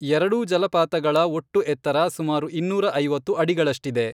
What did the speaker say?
ಎರಡೂ ಜಲಪಾತಗಳ ಒಟ್ಟು ಎತ್ತರ ಸುಮಾರು ಇನ್ನೂರ ಐವತ್ತು ಅಡಿಗಳಷ್ಟಿದೆ.